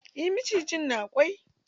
Eh maciji na kwai.